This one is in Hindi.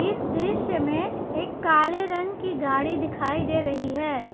इस दृश्य में एक काले रंग की गाड़ी दिखाई दे रही है।